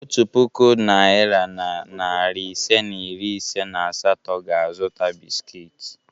Otu puku naịra na narị ise na iri ise na asatọ ga-azụta bisikiiti.